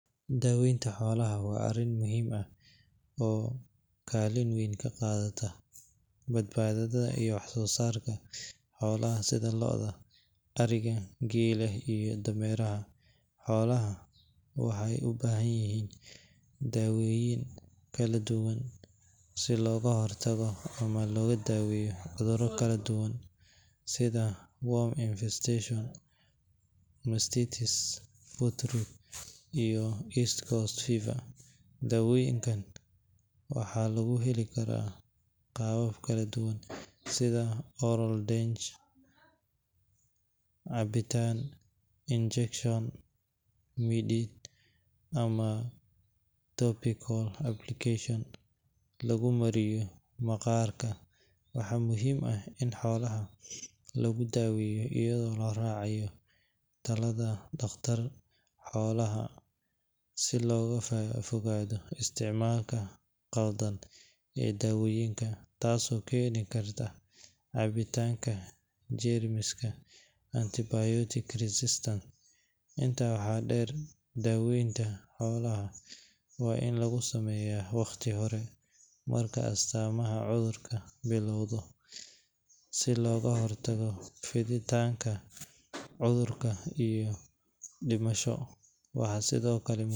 Daaweynta xoolaha waa arrin muhiim ah oo kaalin weyn ka qaadata badbaadada iyo wax-soo-saarka xoolaha sida lo’da, ariga, geela iyo dameeraha. Xoolaha waxay u baahan yihiin daawooyin kala duwan si looga hortago ama loogu daaweeyo cudurro kala duwan sida worm infestation, mastitis, foot rot, iyo East Coast Fever. Daawooyinkaan waxaa lagu heli karaa qaabab kala duwan sida oral drench (cabitaan), injection (mudid), ama topical application (lagu mariyo maqaarka). Waxaa muhiim ah in xoolaha lagu daweeyo iyadoo la raacayo talada dhakhtar xoolaad si looga fogaado isticmaalka qaldan ee daawooyinka, taasoo keeni karta caabbinta jeermiska (antibiotic resistance). Intaa waxaa dheer, daaweynta xoolaha waa in lagu sameeyaa wakhti hore marka astaamaha cudurku bilowdo, si looga hortago fiditaanka cudurka iyo dhimasho. Waxaa sidoo kale.